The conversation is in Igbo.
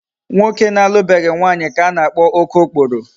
Nwoke na-alubeghi nwaanyi ka a na-akpo okookporo